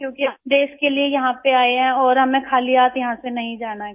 क्योंकि हम देश के लिए यहाँ पे आए हैं और हमें खाली हाथ यहाँ से नहीं जाना है